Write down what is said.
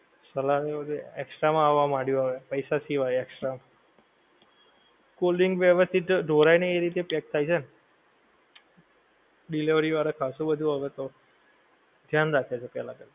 Salad ને એવું બધુ extra માં આવવા માંડ્યું હવે પૈસા સિવાય extra માં. cold drink ભી હવે થી તો ઢોળાય નહિ એવી રીતે pack થાય છે એમ. delivety વાળાં ખાસું બધુ હવે તો, ધ્યાન રાખે છે પહેલા કરતાં.